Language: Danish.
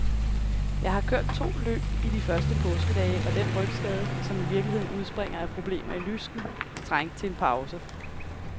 Jeg har kørt to løb i de første påskedage, og den rygskade, som i virkeligheden udspringer af problemer i lysken, trængte til en pause.